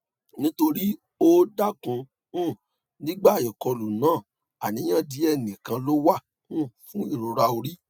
nitori o daku um nigba ikolu na aniyan die nikan lo wa um fun irora ori